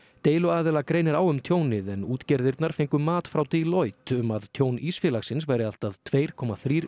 deiluaðila greinir á um tjónið en útgerðirnar fengu mat frá Deloitte um að tjón Ísfélagsins væri allt að tveir komma þrír